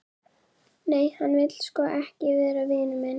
Nei, hann vill sko ekki vera vinur minn.